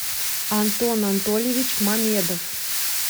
антон антольевич мамедов